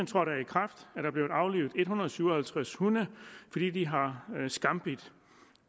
trådte i kraft er der blevet aflivet en hundrede og syv og halvtreds hunde fordi de har skambidt